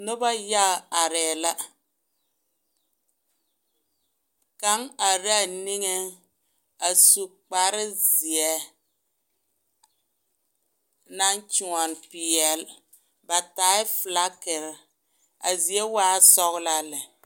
Noba yaga arɛɛ la kaŋ are la a niŋeŋ a su kpare zeɛ naŋ kyoɔne peɛle, ba taaɛ filakiri, a zie waɛ sɔgelaa lɛ.